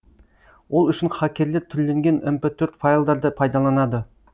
ол үшін хакерлер түрленген мр төрт файлдарды пайдаланады